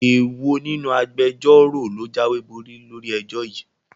Èwo nínú àwọn Agbẹjọ́rò ló jáwéborí lórí ẹjọ́ yìí?